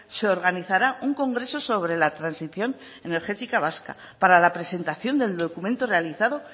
se organizará un congreso sobre la transición energética vasca para la presentación del documento realizado